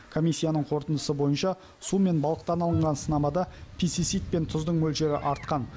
комиссияның қорытындысы бойынша су мен балықтан алынған сынамада пестицид пен тұздың мөлшері артқан